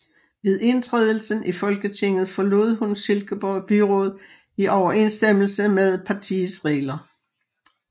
Ved indtrædelsen i Folketinget forlod hun Silkeborg Byråd i overensstemmelse med partiets regler